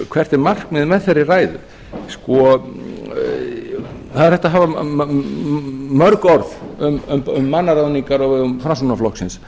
hvert er markmiðið með þeirri ræðu það er hægt að hafa mörg orð um mannaráðningar á vegum framsóknarflokksins